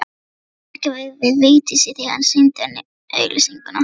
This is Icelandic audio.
Þetta sagði Helgi við Vigdísi þegar hann sýndi henni auglýsinguna.